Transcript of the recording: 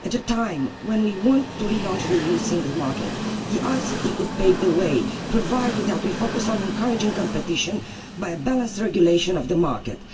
At a time when we want to relaunch the EU single market, the ICT could pave the way, provided that we focus on encouraging competition by balanced regulation of the market.